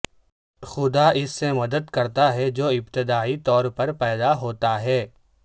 خدا اس سے مدد کرتا ہے جو ابتدائی طور پر پیدا ہوتا ہے